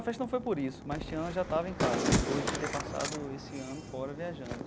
A festa não foi por isso, mas Tiana já estava em casa, depois de ter passado esse ano fora viajando.